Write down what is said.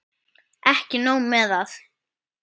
Ekki nóg með að